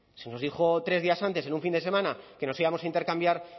se nos dijo tres días antes en un fin de semana que nos íbamos a intercambiar